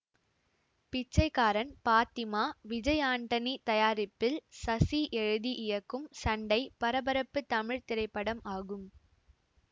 பிச்சைக்காரன் பாத்திமா விஜய் ஆண்டனி தயாரிப்பில் சசி எழுதி இயக்கும் சண்டைபரபரப்பு தமிழ் திரைப்படம் ஆகும்